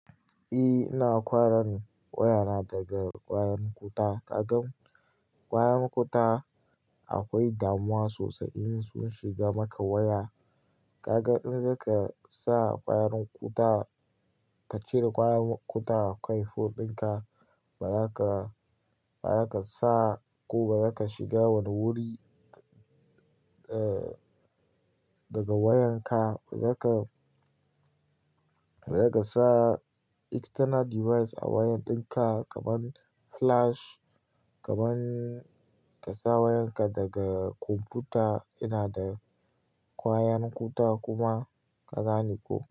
Eh ina kwara waya daga kwayan kuta. Kaga kwayan kuta akwai damuwa sosai in sun shiga maka waya. Kaga in zaka sa kwayan kuta ka cire kwayan kuta a kan phone dinka, bazaka, bazaka sa ko bazaka shiga wani wuri eh daga wayanka. Bazaka, bazaka sa external device a wayan dinka kaman flash, kaman ka sa wayanka daga kwamfuta yana da kwayan kuta kuma, ka gane ko?